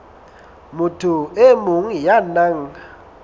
motho e mong ya nang